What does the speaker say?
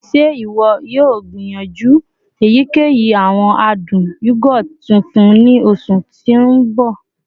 Ṣe iwọ yoo gbiyanju eyikeyi awọn adun yogurt tuntun ni oṣu ti n bọ?